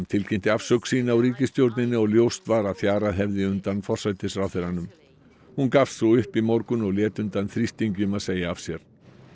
tilkynnti afsögn sína úr ríkisstjórninni og ljóst var að fjarað hefði undan forsætisráðherranum hún gafst svo upp í morgun og lét undan þrýstingi um að segja af sér